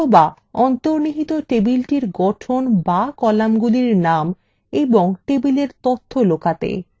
অথবা অন্তর্নিহিত টেবিলটির গঠন বা কলামগুলি names এবং tableএর তথ্য লুকাতে